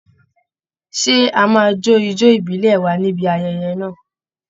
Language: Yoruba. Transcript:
Ṣé a máa jó ijó ìbílẹ̀ wa ní ibi ayẹyẹ náà?